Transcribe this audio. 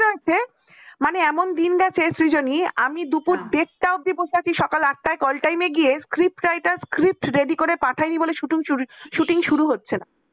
মানে এমন দিন গেছে সৃজনী আমি দুপুর ডেরটা অব্দি দিবসে আছি সকাল আটটা call time এ গিয়ে script writer script ready করে পাঠায়নি বলে শুটিং শুটিং শুরু হচ্ছে না